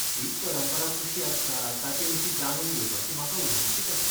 शीख परंपरा कशी आसता ताचेविशीं जाणून घेवपाची म्हाका उमळशीक आसा.